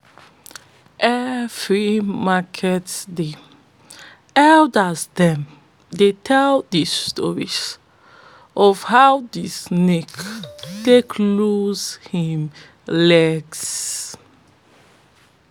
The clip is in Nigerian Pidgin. every market day elders dem dey tell de story of how de snake take lose im legs